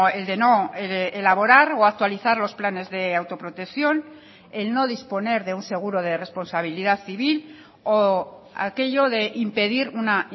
el de no elaborar o actualizar los planes de autoprotección el no disponer de un seguro de responsabilidad civil o aquello de impedir una